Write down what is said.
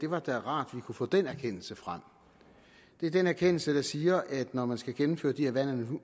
var rart vi kunne få den erkendelse frem det er den erkendelse der siger at når man skal gennemføre de her vand